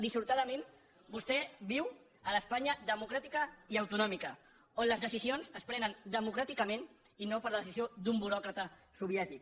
dissortadament vostè viu a l’espanya democràtica i autonòmica on les decisions es prenen democràticament i no per decisió d’un buròcrata soviètic